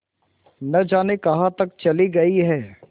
न जाने कहाँ तक चली गई हैं